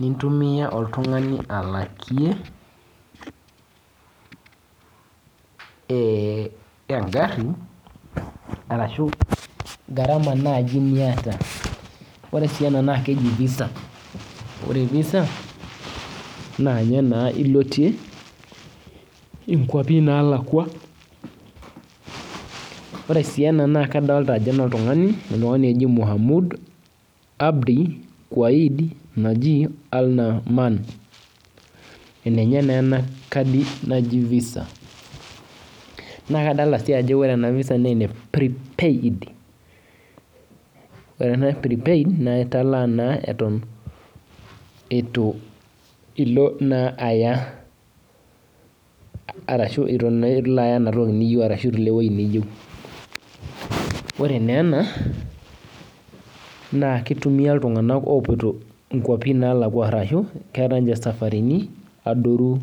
nintumiaa oltung'ani alakie ee eng'arri arashu garama naainiataa ore ena naa keji visa, ore visa naaninye ilotien kuapi naaliki ore sii ena naa kadolita ajo enoltung'ani oji Mohamud Abdi ore ena visa naa ene prepaid naa kelimu ajo italaa eton iaya ashu ilo enewueji niyieu